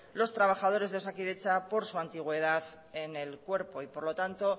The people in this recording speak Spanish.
los trabajadores de osakidetza por su antigüedad en el cuerpo y por lo tanto